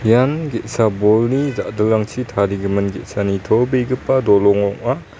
ian ge·sa bolni ja·dilrangchi tarigimin ge·sa nitobegipa dolong ong·a.